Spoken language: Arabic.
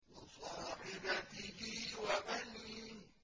وَصَاحِبَتِهِ وَبَنِيهِ